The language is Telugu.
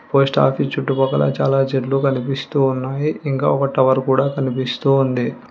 పోస్ట్ ఆఫీస్ చుట్టుపక్కల చాలా చెట్లు కనిపిస్తూ ఉన్నాయి ఇంకా ఒక టవర్ కూడా కనిపిస్తూ ఉంది.